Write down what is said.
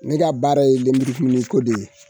Ne ka baara ye lenburukumuniko de ye